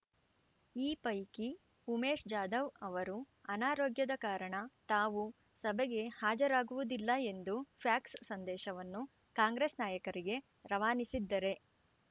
ಈ ಪೈಕಿ ಉಮೇಶ್‌ ಜಾಧವ್‌ ಅವರು ಅನಾರೋಗ್ಯದ ಕಾರಣ ತಾವು ಸಭೆಗೆ ಹಾಜರಾಗುವುದಿಲ್ಲ ಎಂದು ಫ್ಯಾಕ್ಸ್‌ ಸಂದೇಶವನ್ನು ಕಾಂಗ್ರೆಸ್‌ ನಾಯಕರಿಗೆ ರವಾನಿಸಿದ್ದರೆ